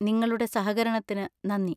നിങ്ങളുടെ സഹകരണത്തിന് നന്ദി.